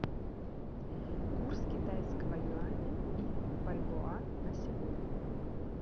курс китайского юаня и бальбоа на сегодня